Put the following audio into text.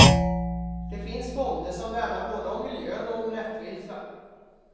Det finns fonder som värnar både om miljön och om rättvisa.